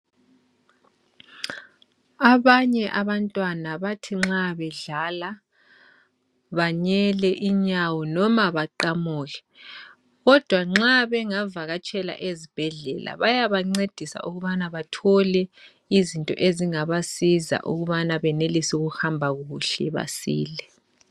Abanye abantwana bathi nxa bedlala banyele inyawo noma baqamuke kodwa nxa bengavatshela ezibhedlela bayabancedisa ukubana bathole izinto ezingabasiza ukubana benelise ukuhamba kuhle basile .